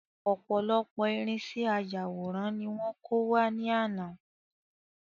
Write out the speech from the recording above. Ọ̀pọ̀lọpọ̀ irínṣẹ́ ayàwòrán ní wọ́n kó wá ní àná